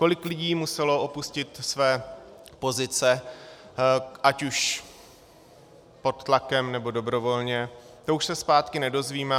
Kolik lidí muselo opustit své pozice ať už pod tlakem, nebo dobrovolně, to už se zpátky nedozvíme.